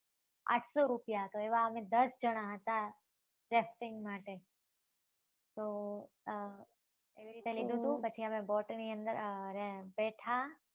આઠસો રૂપિયા હતા. એવા અમે દસ જણા હતા. રેફરીંગ માટે. તો અમ એવી રીતે લીધુ હતુ. પછી અમે boat ની અંદર અમ બેઠા